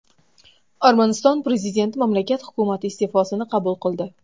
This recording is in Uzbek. Armaniston prezidenti mamlakat hukumati iste’fosini qabul qildi.